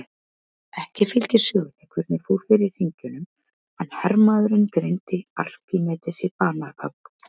Ekki fylgir sögunni hvernig fór fyrir hringjunum en hermaðurinn greiddi Arkímedesi banahögg.